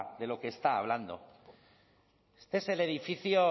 de lo que está hablando este es el edificio